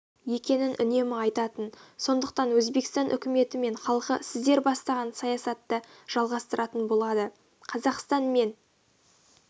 екенін үнемі айтатын сондықтан өзбекстан үкіметі мен халқы сіздер бастаған саясатты жалғастыратын болады қазақстан мен